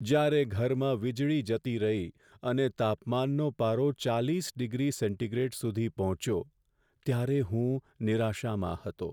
જ્યારે ઘરમાં વીજળી જતી રહી અને તાપમાનનો પારો ચાલીસ ડિગ્રી સેન્ટીગ્રેડ સુધી પહોંચ્યો, ત્યારે હું નિરાશામાં હતો.